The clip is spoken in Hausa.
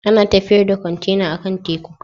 Ana tafiyar da kwantena akan teku.